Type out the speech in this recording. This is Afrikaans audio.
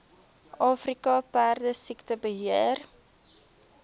afrika perdesiekte beheer